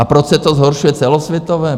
A proč se to zhoršuje celosvětové?